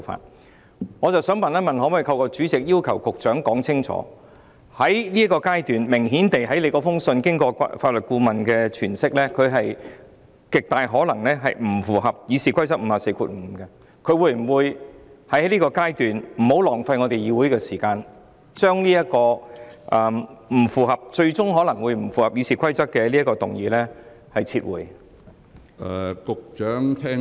但是，我想問一問，可否透過主席要求局長說清楚，在這個階段，根據主席的信件，明顯看到經過法律顧問的詮釋，他極有可能不符合《議事規則》第545條的，故在現階段，他會否為了不浪費議會的時間，而將這項最終可能不符合《議事規則》的議案撤回？